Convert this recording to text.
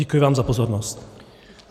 Děkuji vám za pozornost.